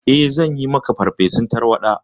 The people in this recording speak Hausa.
Eh, zanyi maka farfesun tarwaɗa.